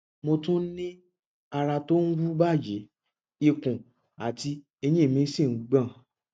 mo tún ń ní ara tó ń wú báyìí ikùn àti ẹyìn mi sì ń gbọn